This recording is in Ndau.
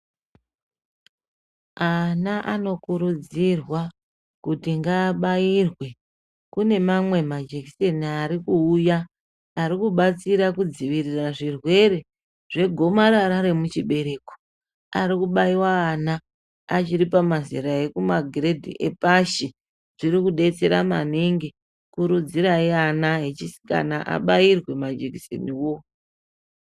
Ana anokurudzirwa kuti ngaabayirwe, kune mamwe majekiseni ari kuuya, ari kubatsira kudzivirira zvirwere zvegomarara remuchibereko ,ari kubayiwa ana achiri pamazera emagiredhi epashi, zviri kudetsera maningi, kurudzirayi ana echisikana abiyirwe majekiseniwo.